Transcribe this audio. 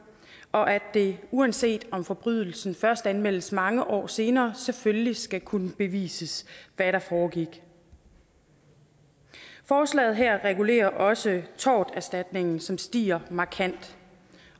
og at det uanset om forbrydelsen først anmeldes mange år senere selvfølgelig skal kunne bevises hvad der foregik forslaget her regulerer også torterstatningen som stiger markant